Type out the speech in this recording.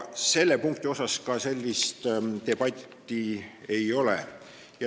Selle punkti üle ka sellist debatti ei ole.